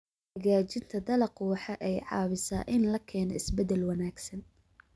Hagaajinta dalaggu waxa ay caawisaa in la keeno isbeddel wanaagsan.